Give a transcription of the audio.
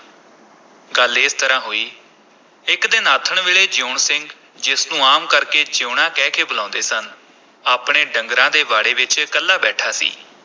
ਗੱਲ ਇਸ ਤਰ੍ਹਾਂ ਹੋਈ, ਇਕ ਦਿਨ ਆਥਣ ਵੇਲੇ ਜੀਊਣ ਸਿੰਘ ਜਿਸ ਨੂੰ ਆਮ ਕਰਕੇ ਜੀਊਣਾ ਕਹਿ ਕੇ ਬੁਲਾਉਂਦੇ ਸਨ, ਆਪਣੇ ਡੰਗਰਾਂ ਦੇ ਵਾੜੇ ਵਿਚ ਇਕੱਲਾ ਬੈਠਾ ਸੀ।